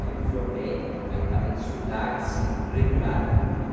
Aí me formei, aí parei de estudar, assim, regular.